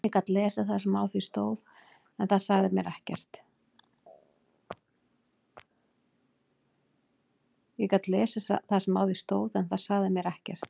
Ég gat lesið það sem á því stóð en það sagði mér ekkert.